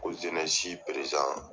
Ko